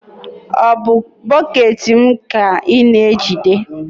ọ bụ bọket m ka ị na-ejide?